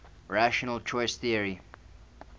rational choice theory